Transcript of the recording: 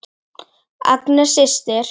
Agnes systir.